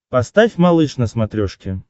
поставь малыш на смотрешке